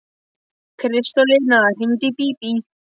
Hann kom alveg ofan í mig í æsingnum.